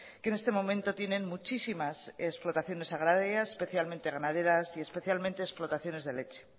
que en este momento tienen muchísimas explotaciones agrarias especialmente ganaderas y especialmente explotaciones de leche